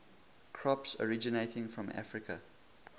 crops originating from africa